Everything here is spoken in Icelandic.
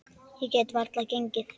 Ég get varla gengið.